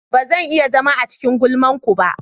Ba zan iya zama a cikin gulman ku ba.